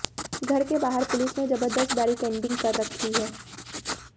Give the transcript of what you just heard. घर के बाहर पुलिस ने जबर्दस्त बैरिकेडिंग कर रखी है